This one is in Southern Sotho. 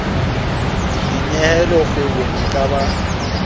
dinyehelo kgwebong e ka ba